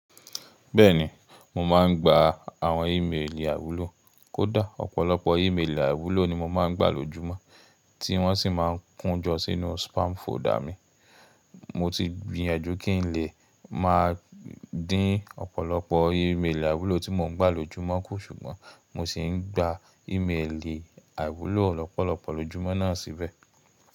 Bẹ́ẹ̀ni, mo máa n gba àwọn iméèlì àwúlò. Kò dá, ọ̀pọ̀lọpọ̀ e méèlì àwúlò ni mo máa ń gba lójúmọ́, tí wọ́n sì máa ń kún jọ sínú spam folder mi. Mo ti gbìyenjú kí n lè máa dín ọ̀pọ̀lọpọ̀ e méèlì àwúlò tí mo ń gba lójúmọ́ kù, ṣùgbọ́n mo ṣì ń gba e méèlì àwúlò lọ̀pọ̀lọpọ̀ lójúmọ́ náà síbẹ̀.